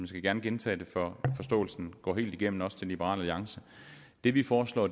skal gerne gentage det for at forståelsen går helt igennem også til liberal alliance det vi foreslår